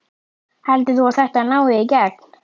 Heldur þú að þetta nái í gegn?